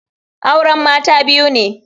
Auren Mata biyu ne.